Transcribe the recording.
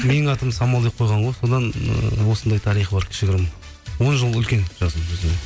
менің атымды самал деп қойған ғой содан ы осындай тарихы бар кішігірім он жыл үлкен жасым өзімнен